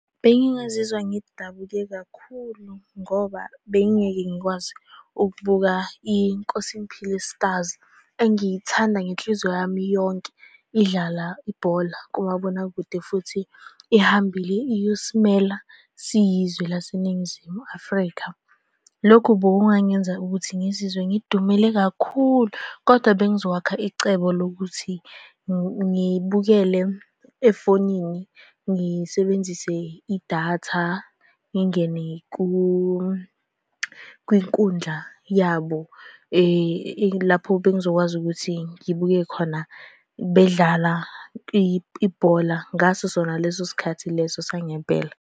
Bengingazizwa ngidabuke kakhulu ngoba bengingeke ngikwazi ukubuka, Inkosingiphile Stars, engiyithanda ngenhliziyo yami yonke, idlala ibhola kumabonakude futhi ihambile iyosimela siyizwe laseNingizimu Afrika. Lokhu bokungangenza ukuthi ngizizwe ngidumele kakhulu, kodwa bengizokwakha icebo lokuthi ngibukele efonini, ngisebenzise idatha. Ngingene kwinkundla yabo lapho bengizokwazi ukuthi ngibuke khona bedlala ibhola ngaso sona leso sikhathi leso sangempela.